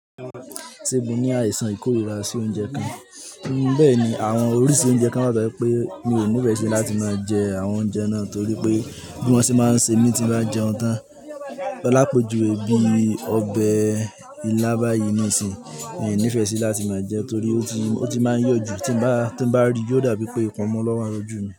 Ṣé mo ní àìsàn ìkórìíra sí oúnjẹ kan, bẹ́ẹ̀ ni àwọn oríṣi oúnjẹ kan, wa to je wipé mi ò nífẹ̀ẹ́ sí láti máa jẹ àwọn oúnjẹ náà torí pé bí wọ́n ṣe máa ń ṣe mí tí bá jẹun tán. Ọlápoju, èbí, ọbẹ̀ ilá báyìí nísìínyi, mi ò nífẹ̀ẹ́ sí láti máa jẹ torí ó ti máa ń yọ̀ jù. Tí bá rí i, yóò dàbí wipé ìkunmu lọ́wa loju mi.